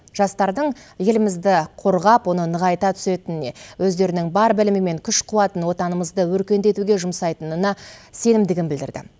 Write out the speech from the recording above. жастардың елімізді қорғап оны нығайта түсетініне өздерінің бар білімі мен күш қуатын отанымызды өркендетуге жұмсайтынына сенімдігін білдірді